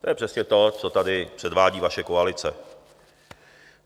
To je přesně to, co tady předvádí vaše koalice.